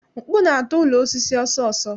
Mkpu na-ata ụlọ osisi ọsọọsọ